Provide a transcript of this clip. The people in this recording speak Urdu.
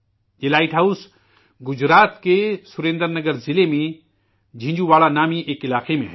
یہ لائٹ ہاؤس گجرات کے سریندر نگر ضلع میں جنجھوواڑا نام کے ایک مقام پر ہے